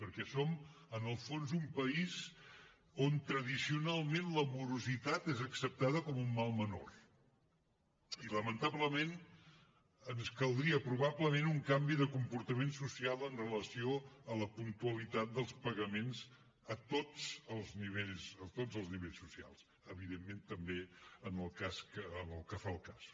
perquè som en el fons un país on tradicionalment la morositat és acceptada com un mal menor i lamentablement ens caldria probablement un canvi de comportament social amb relació a la puntualitat dels pagaments a tots els nivells a tots els nivells socials evidentment també en el que fa al cas